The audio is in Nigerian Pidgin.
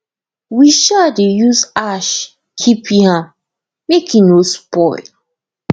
we um dey use ash keep yam make e no spoil